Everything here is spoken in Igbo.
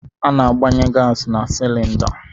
Ana-agbanye gaasị na silinda.